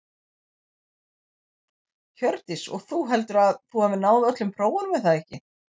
Hjördís: Og þú, heldurðu að þú náir öllum prófunum er það ekki?